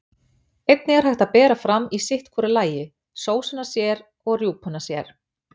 Einnig er hægt að bera fram í sitt hvoru lagi, sósuna sér og rjúpuna sér.